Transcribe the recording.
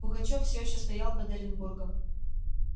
пугачёв все ещё стоял под оренбургом